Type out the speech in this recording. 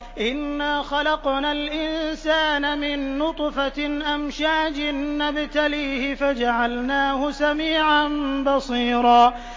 إِنَّا خَلَقْنَا الْإِنسَانَ مِن نُّطْفَةٍ أَمْشَاجٍ نَّبْتَلِيهِ فَجَعَلْنَاهُ سَمِيعًا بَصِيرًا